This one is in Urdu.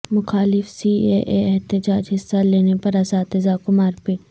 مخالف سی اے اے احتجاج حصہ لینے پر اساتذہ کو مارپیٹ